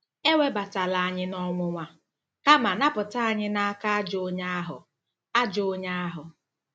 "Ewebatala anyị n'ọnwụnwa, kama napụta anyị n'aka ajọ onye ahụ." ajọ onye ahụ."